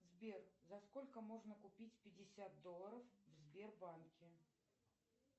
сбер за сколько можно купить пятьдесят долларов в сбербанке